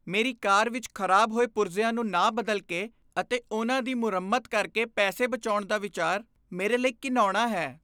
ਮੇਰੀ ਕਾਰ ਵਿਚ ਖਰਾਬ ਹੋਏ ਪੁਰਜ਼ਿਆਂ ਨੂੰ ਨਾ ਬਦਲ ਕੇ ਅਤੇ ਉਹਨਾਂ ਦੀ ਮੁਰੰਮਤ ਕਰਕੇ ਪੈਸੇ ਬਚਾਉਣ ਦਾ ਵਿਚਾਰ ਮੇਰੇ ਲਈ ਘਿਣਾਉਣਾ ਹੈ।